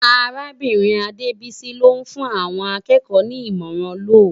Árábirin Adebisi ló n fún áwòn ákèékò ni imòrán lòw